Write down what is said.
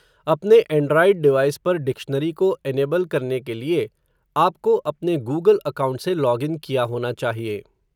अपने android device पर dictionary को इनेबल करने के लिए, आपको अपने गूगल अकाउंट से लॉग इन किया होना चाहिए.